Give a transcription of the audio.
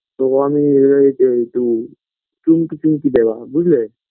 তো আমি এ তে তু pink pink দেওয়া বুঝলে